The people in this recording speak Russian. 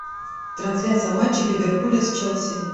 трансляция матча ливерпуля с челси